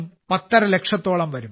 5 ലക്ഷത്തോളം വരും